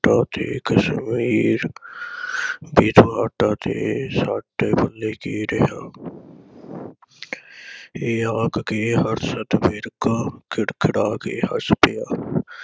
ਜੱਗਾ ਤੇ cassette ਵੀ ਤੁਹਾਡਾ ਤੇ ਸਾਡੇ ਪੱਲੇ ਕੀ ਰਿਹਾ। ਇਹ ਆਖ ਕੇ ਹਰਸ਼ਤ ਵਿਰਕ ਖਿੜ ਖਿੜਾ ਕੇ ਹੱਸ ਪਿਆ। ਲੱਗਦਾ